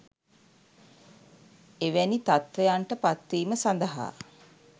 එවැනි තත්ත්වයන්ට පත්වීම සඳහා